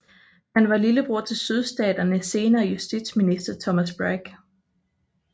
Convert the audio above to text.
Han var lillebror til Sydstaternes senere justitsminister Thomas Bragg